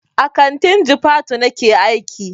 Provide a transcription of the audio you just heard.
A kantin jifatu nake aiki.